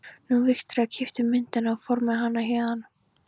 Nú, Viktoría keypti myndina og fór með hana héðan.